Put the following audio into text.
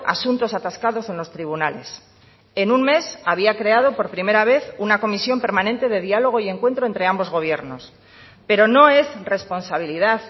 asuntos atascados en los tribunales en un mes había creado por primera vez una comisión permanente de dialogo y encuentro entre ambos gobiernos pero no es responsabilidad